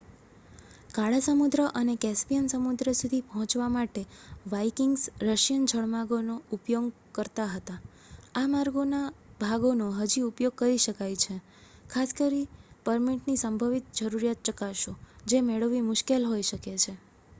કાળા સમુદ્ર અને કેસ્પિયન સમુદ્ર સુધી પહોંચવા માટે વાઇકિંગ્સ રશિયન જળમાર્ગોનો ઉપયોગ કરતા હતા.આ માર્ગોના ભાગોનો હજી ઉપયોગ કરી શકાય છે ખાસ પરમિટની સંભવિત જરૂરિયાત ચકાસો જે મેળવવી મુશ્કેલ હોઈ શકે છે